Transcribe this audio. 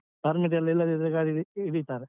Permission ಇಲ್ಲದಿದ್ರೆ ಗಾಡಿ ಹಿಡಿತಾರೆ.